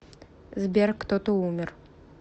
сбер кто то умер